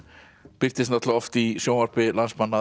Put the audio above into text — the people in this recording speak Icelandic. birtist náttúrulega oft í sjónvarpi landsmanna